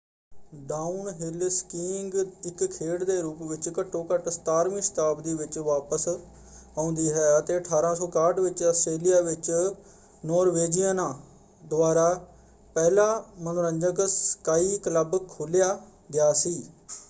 Downhill skiing ਇਕ ਖੇਡ ਦੇ ਰੂਪ ਵਿੱਚ ਘੱਟੋ-ਘੱਟ 17ਵੀਂ ਸ਼ਤਾਬਦੀ ਵਿੱਚ ਵਾਪਸ ਆਉਂਦੀ ਹੈ ਅਤੇ 1861 ਵਿੱਚ ਆਸਟਰੇਲੀਆ ਵਿੱਚ ਨੋਰਵੇਜ਼ੀਅਨਾਂ ਦੁਆਰਾ ਪਹਿਲਾ ਮਨੋਰੰਜਕ ਸਕਾਇ ਕਲੱਬ ਖੋਲਿਆ ਗਿਆ ਸੀ।